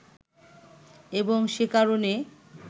এবং সে কারণে